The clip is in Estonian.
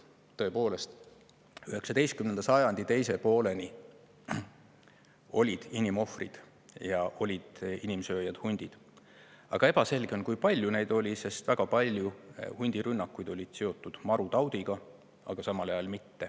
Tõepoolest, 19. sajandi teise pooleni olid inimohvrid ja olid inimsööjad hundid, aga ebaselge on, kui palju neid oli, sest väga paljud hundirünnakud olid seotud marutaudiga, aga mitte kõik.